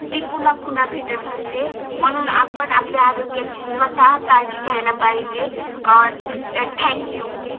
ती पुन्हा पुन्हा भेटत नसते म्हणून आपण आपल्या आरोग्य ची स्वतः काळजी घ्यायला पाहिजे अं